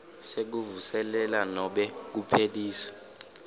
sekuvuselela nobe kuphelisa